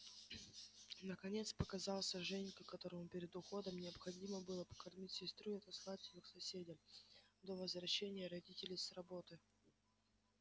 наконец показался женька которому перед уходом необходимо было покормить сестру и отослать её к соседям до возвращения родителей с работы